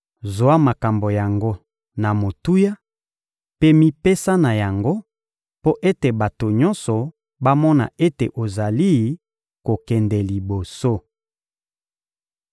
Zwa makambo yango na motuya mpe mipesa na yango mpo ete bato nyonso bamona ete ozali kokende liboso.